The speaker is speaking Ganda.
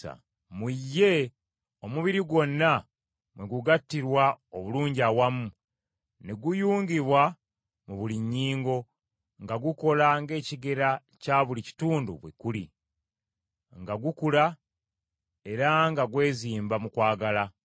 Mu ye omubiri gwonna mwe gugattirwa obulungi awamu, ne guyungibwa mu buli nnyingo, nga gukola ng’ekigera kya buli kitundu bwe kuli, nga gukula era nga gwezimba mu kwagala.